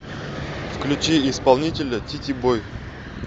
включи исполнителя тити бой